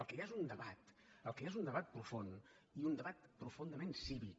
el que hi ha és un debat el que hi ha és un debat profund i un debat profundament cívic